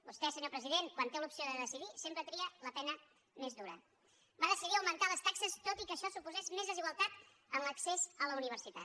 vostè senyor president quan té l’opció de decidir sempre tria la pena més dura va decidir augmentar les taxes tot i que això suposés més desigualtat en l’accés a la universitat